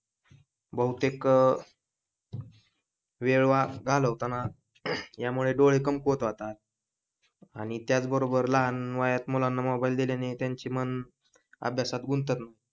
बहुतेक वेळ घालवताना या मुले दोन्ही डोळे कमकुवत होतात. आणि त्याच बरोबर लहान वयात मुलांना मोबाइल दिल्याने त्यांचे मन अभ्यासात गुंतत